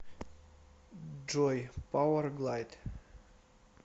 джой пауэрглайд